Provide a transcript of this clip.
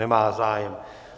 Nemá zájem.